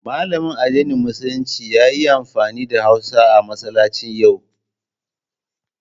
Malamin addinin Musulunci ya yi amfani da hausa a masallacin yau.